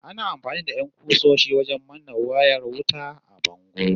Ana amfani da 'yan ƙusoshi wajen manne wayar wuta a bango